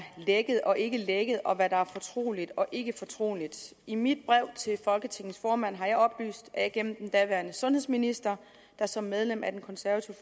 lækket og ikke lækket og hvad der er fortroligt og ikke fortroligt i mit brev til folketingets formand har jeg oplyst at jeg gennem den daværende sundhedsminister der som medlem af den konservative